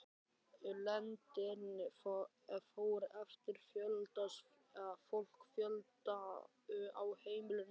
Lengdin fór eftir fólksfjölda á heimilunum.